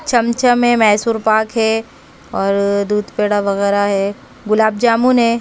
छमछम है मैसूर पाक है और दूध पेड़ा वगैरह है गुलाब जामुन हैं।